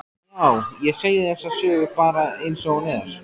Já, ég segi þessa sögu bara einsog hún er.